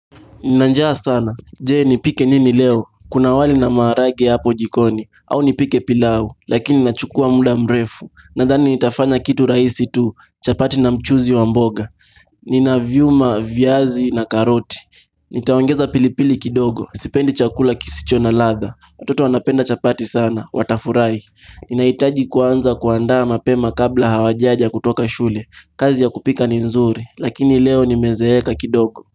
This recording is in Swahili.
Ninanjaa sana, je nipikee nini leo, kuna wali na maharage yapo jikoni, au nipike pilau, lakini nachukua muda mrefu, nadhani nitafanya kitu rahisi tu, chapati na mchuzi wa mboga, ninavyuma, viazi na karoti, nitaongeza pilipili kidogo, sipendi chakula kisicho na ladha, watoto wanapenda chapati sana, watafurahi, ninahitaji kuanza kuandaa mapema kabla hawajaja kutoka shule, kazi ya kupika ni nzuri, lakini leo nimezeeka kidogo.